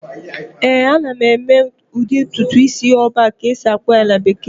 ee, ana m eme udi ntutu isi "all back" ka a esi-akpọ ya na bekee